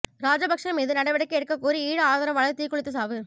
ராஜபக்ச மீது நடவடிக்கை எடுக்கக் கோரி ஈழ ஆதரவாளர் தீக்குளித்து சாவு